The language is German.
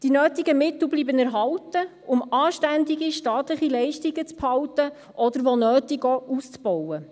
Die nötigen Mittel bleiben erhalten, um anständige staatliche Leistungen beizubehalten oder wo nötig auch auszubauen.